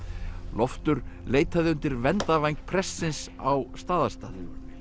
Loftur leitaði undir verndarvæng prestsins á Staðarstað